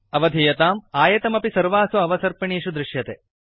अवधीयताम् आयतमपि सर्वासु अवसर्पिणीषु दृष्यते